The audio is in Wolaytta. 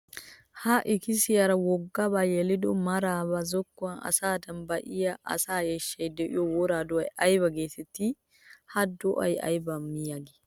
Ha ikkissiyara wogga ba yeliddo mara ba zokkuwan asaadan ba'iya asaa eeshshay de'iyo wora do'ay aybba geetetti? Ha do'ay aybba miyaage?